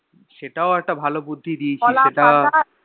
সেটাও একটা ভালো বুদ্ধি দিয়েছিস সেটা